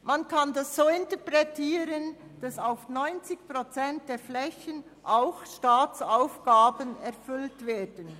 Man kann das so interpretieren, dass auf 90 Prozent der Flächen auch Staatsaufgaben erfüllt werden.